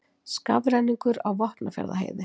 Skafrenningur á Vopnafjarðarheiði